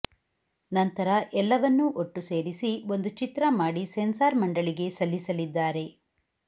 ನಂತರ ಎಲ್ಲವನ್ನೂ ಒಟ್ಟು ಸೇರಿಸಿ ಒಂದು ಚಿತ್ರ ಮಾಡಿ ಸೆನ್ಸಾರ್ ಮಂಡಳಿಗೆ ಸಲ್ಲಿಸಲಿದ್ದಾರೆ